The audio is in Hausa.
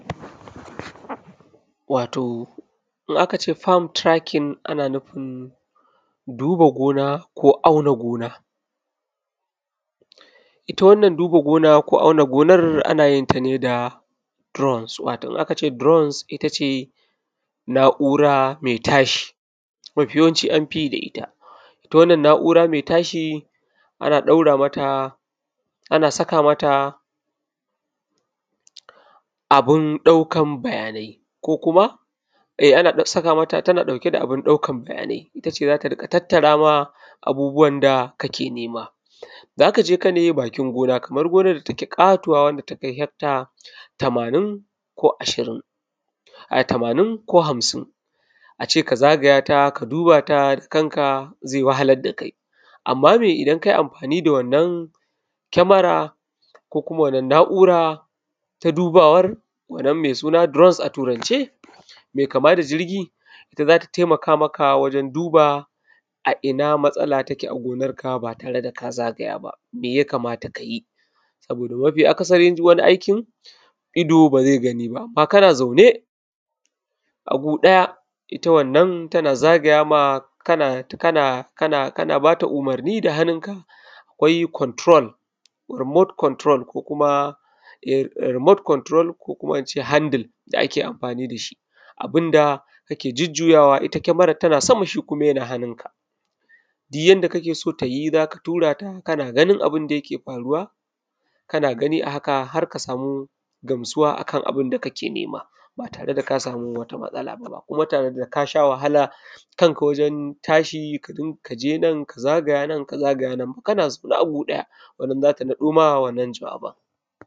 wato in akace fam turakin ana nufin duba gona ko auna gona inna wannan duba gonan auna gonnan anˋayin ta ne da durons watoˋ in akace durons na’ura mai tashiˋ mafi yawan ci anfiˋyiˋ da itta itta wannan na’ura mai tashiˋ ana daura mata ana saka mata abun daukan bayanai ko kuma eh ana saka mata tana dauke da abun daukan baya nai itta ce zata tattara maka abubuwan da kake nema. Zakaje kana bakin gona kamar gonar da take katuwa wanda takai hekta tamanin ko ashirin ai tamanˊn ko hamsin ace ka zagaya ta ka duba ta da kanka zai wahalar da kai amma me idan akayiˋ amfaniˋ da wannan kemara ko kuma wannan na’ura ta dubawan mai suna durons a turance mai kama da jirgiˋ zata taimaka maka wajen duba a inna matsala take a gonan ka ba tare da kazagaya ba meya kamata kayiˋ? sabida Mafiˋ a kasari duk waniˋ aikin ido bazai ganiˋ ba amma kana zaune a gu daya itta wannan tana zagaya ma kan bata umarniˋ da hannun ka kwai kwanturol, rumot kwanturol ko kuma ince handil da ake amfaniˋ da shiˋ abunda ke jujjuya itta kemaran tana sama shi kuma yana hannunka duk yanda kakeson tayiˋ zaka tura ta kana ganin abunda yake faruwa, kana ganiˋ a haka harka samu gamsuwa akan abunda kake nema ba tare da kasamu wata matsala ba kuma tare da kasha wahalar da kanka waren tashiˋ kaje nan kaje nan.